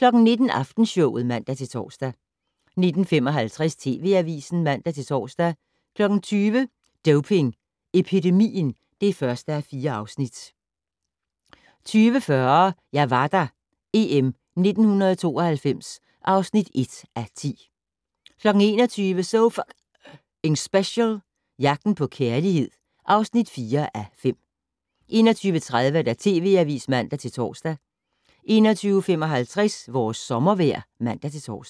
19:00: Aftenshowet (man-tor) 19:55: TV Avisen (man-tor) 20:00: Doping Epidemien (1:4) 20:40: Jeg var der - EM 1992 (1:10) 21:00: So F***ing Special - Jagten på kærlighed (4:5) 21:30: TV Avisen (man-tor) 21:55: Vores sommervejr (man-tor)